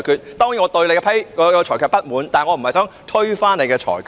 我當然對你的裁決感到不滿，但我並非想推翻你的裁決。